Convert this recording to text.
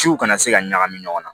Ciw kana se ka ɲagami ɲɔgɔn na